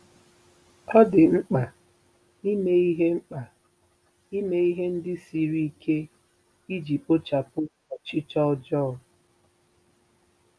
Ọ dị mkpa ime ihe mkpa ime ihe ndị siri ike iji kpochapụ ọchịchọ ọjọọ.